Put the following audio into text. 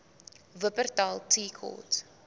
wupperthal tea court